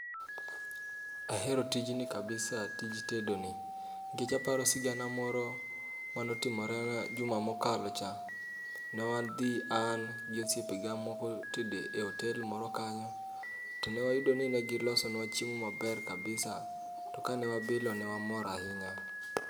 Ahero tijni kabisa, tij tedo ni. Nikech aparo sigana moro manotimorena juma mokalo cha, ne wadhi an gi osiepe ga moko tede e otel moro kanyo. To ne wayudo ni ne gilosonwa chiemo maber labisa, to ka ne wabilo ne wamor ahinya.